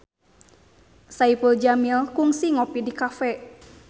Saipul Jamil kungsi ngopi di cafe